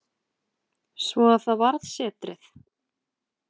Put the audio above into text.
Svo að það varð setrið.